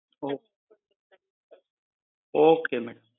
O, okay madam.